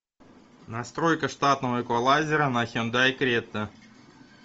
настройка штатного эквалайзера на хендай крета